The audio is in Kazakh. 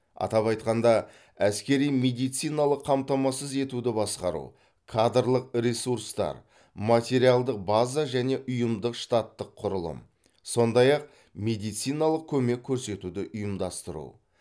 атап айтқанда әскери медициналық қамтамасыз етуді басқару кадрлық ресурстар материалдық база және ұйымдық штаттық құрылым сондай ақ медициналық көмек көрсетуді ұйымдастыру